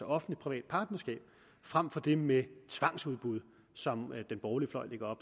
offentligtprivat partnerskab frem for det med tvangsudbud som den borgerlige fløj lægger